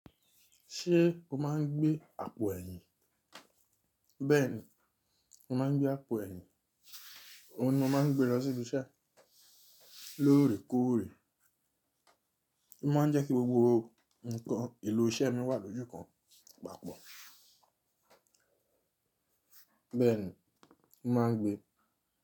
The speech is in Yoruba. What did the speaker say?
Ṣé o má ń gbé àpò ẹ̀yìn? Bẹ́ẹ̀ni, mo má ń gbé àpò ẹ̀yìn, òun ni mo má ń gbé lọ sí ibi iṣẹ́ lórèkóòrè. Ó má ń jẹ́ kí gbogbo nǹkan èlò iṣẹ́ mi wà lójú kan papọ̀. Bẹ́ẹ̀ni, mo má ń gbé.